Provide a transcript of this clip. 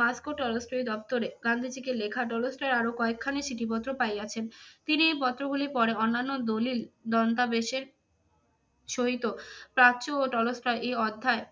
Moscow Tolstoy দপ্তরে গান্ধীজীকে লেখা টলস্টয়ের আরো কয়েকখানি চিঠিপত্র পাইয়াছেন। তিনি এই পত্রগুলি পরে অন্যান্য দলিল দন্তাবেশের সহিত প্রাচ্য ও টলস্টয় এই অধ্যায়